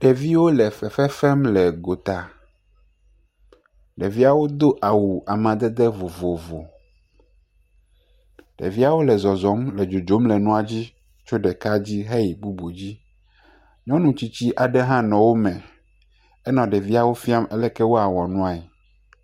Ɖeviwo le fefe fem le gota, ɖeviawo doawu amdede vovovo, ɖeviawo le zɔzɔm le dzodzom le nuawo dzi, tso ɖeka dzi heyi bubu dzi, nyɔnu tsitsi aɖe hã le wo me hele ɖevia fiam aleke woa wɔ nuae.